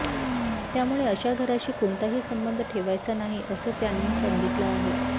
त्यामुळे अशा घराशी कोणताही संबंध ठेवायचा नाही असं त्यांनी सांगितलं आहे